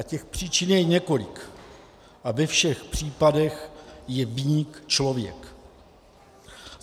A těch příčin je několik a ve všech případech je viník člověk.